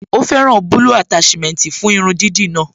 Ó fẹ́ràn bulbul attachment fún irun dídì náà